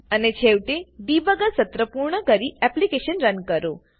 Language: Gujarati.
અને છેવટે ડિબગર સત્ર પૂર્ણ કરી એપ્લીકેશન રન કરો